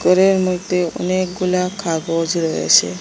ট্রেয়ের মদ্যে অনেকগুলা কাগজ রয়েছে।